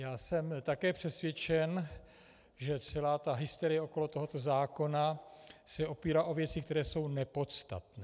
Já jsem také přesvědčen, že celá ta hysterie okolo tohoto zákona se opírá o věci, které jsou nepodstatné.